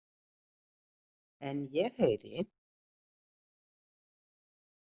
En ég heyri.